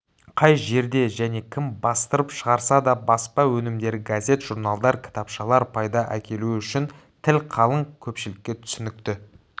қай жерде және кім бастырып шығарса да баспа өнімдері газет-журналдар кітапшалар пайда әкелуі үшін тіл қалың көпшілікке түсінікті